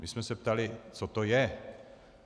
My jsme se ptali, co to je.